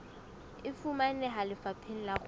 e fumaneha lefapheng la kgwebo